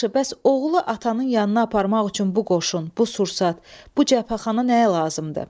Yaxşı, bəs oğlu atanın yanına aparmaq üçün bu qoşun, bu sursat, bu cəbhəxana nəyə lazımdır?